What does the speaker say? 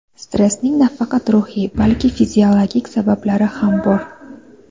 Stressning nafaqat ruhiy, balki fiziologik sabablari ham bor.